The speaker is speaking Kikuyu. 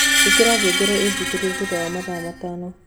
ĩkĩra ngengere ĩnjukirĩe thũtha wa mathaa matano